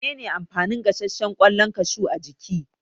Mene ne amfanin gasashshen kwallon kashu a jiki?